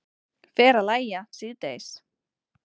Fer að lægja síðdegis